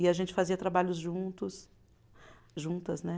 E a gente fazia trabalhos juntos, juntas, né?